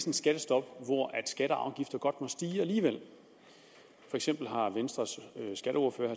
et skattestop hvor skatter og afgifter godt må stige alligevel for eksempel har venstres skatteordfører